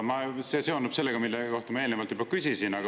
See seondub sellega, mille kohta ma eelnevalt juba küsisin.